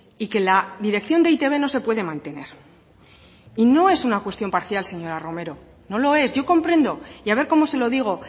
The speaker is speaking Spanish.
y que la dirección de e i te be no se puede mantener y no es una cuestión parcial señora romero no lo es yo comprendo y a ver cómo se lo digo